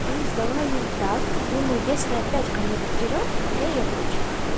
и сдала ей так и думаю если опять ко мне придерётся то я ей отвечу